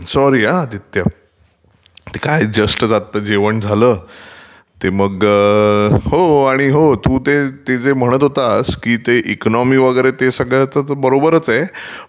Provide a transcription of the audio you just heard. sorry हा आदित्य, ते काय जस्ट आता जेवण झालं, ते मगं....हो आणि हो तू ते जे म्हणत होतसं की ते इकॉनॉमी वगैरे सगळं बरोबरचं आहे